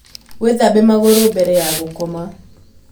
Wĩthabe magũrũ mbere ya gũkoma.